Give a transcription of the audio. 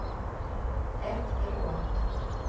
efteråt